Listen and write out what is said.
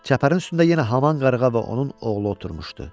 Çəpərin üstündə yenə haman qarğa və onun oğlu oturmuşdu.